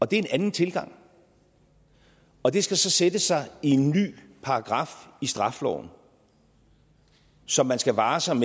det er en anden tilgang og det skal så sætte sig i en ny paragraf i straffeloven som man skal vare sig